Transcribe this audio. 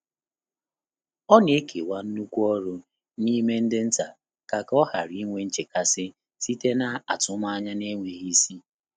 Ọ́ nà-ékèwá nnùkú ọ́rụ́ n’ímé ndị́ ntá kà kà ọ́ ghàrà ínwé nchékàsị́ sìté n’átụ́mànyà nà-énwéghị́ ísí.